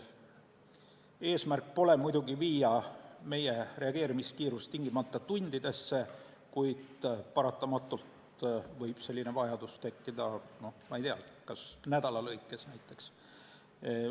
Eesmärk pole muidugi viia meie reageerimiskiirust tingimata tundidesse, kuid paratamatult võib selline vajadus tekkida, näiteks nädala jooksul.